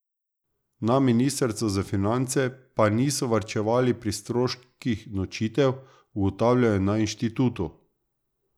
Na ministrstvu za finance pa niso varčevali pri stroških nočitev, ugotavljajo na inštitutu.